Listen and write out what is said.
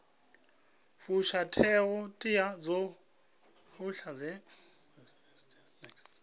fusha ṱhoḓea dzoṱhe dzi re